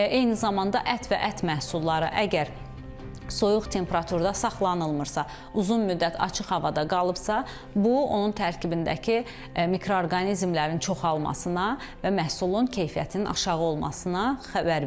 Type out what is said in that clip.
Eyni zamanda ət və ət məhsulları əgər soyuq temperaturda saxlanılmırsa, uzun müddət açıq havada qalıbsa, bu onun tərkibindəki mikroorqanizmlərin çoxalmasına və məhsulun keyfiyyətinin aşağı olmasına xəbər verir.